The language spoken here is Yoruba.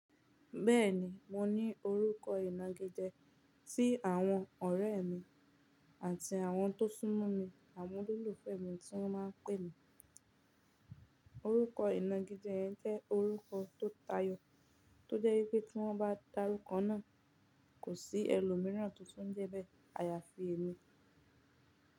Bẹ́ẹ̀ni, mo ní orúkọ ìnagijẹ tí àwọn ọ̀rẹ́ mi àti àwọn tó sún mọ́ mi àwọn olólùfẹ́ mi tí wọ́n máa ń pè mi. Orúkọ ìnagijẹ yẹn jẹ́ orúkọ tó tayọ̀ tó jẹ́ wípé tí wọ́n bá darúkọ náà, kò sí ẹlòmíràn tó tún jẹ́bẹ́ àyàfi èmi.